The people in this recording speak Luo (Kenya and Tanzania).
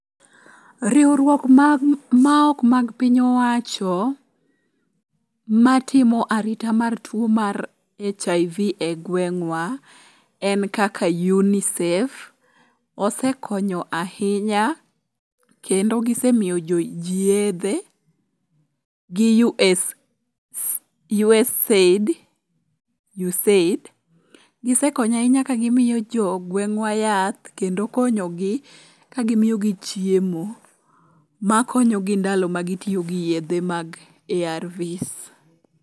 Riwruok maok mag piny owacho matimo arita mar tuo mar HIV e gweng'wa en kaka UNICEF. Osekonyo ahinya kendo gisemiyoji yedhe gi USAID. Gisekonyo ahinya kagimiyo jogweng'wa yath kendo konyogi ka gimiyogi chiemo makonyogi ndalo ma gitiyo gi yedhe mag ARVs.